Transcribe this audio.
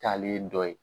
Taalen dɔ ye